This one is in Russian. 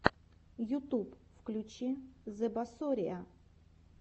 ютуб включи зебасориа